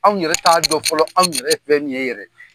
Anw yɛrɛ t'a dɔn fɔlɔ anw yɛrɛ ye fɛn min ye yɛrɛ.